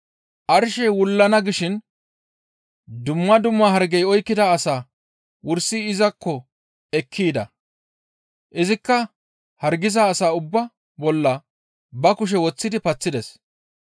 Arshey wullana gishin dumma dumma hargey oykkida asaa wursi izakko ekki yida. Izikka hargiza asaa ubbaa bolla ba kushe woththidi paththides.